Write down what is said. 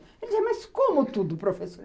Ele dizia, mas como tudo, professora?